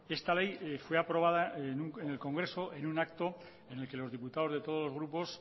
esta ley fue aprobada en el congreso en un acto en el que los diputados de todos grupos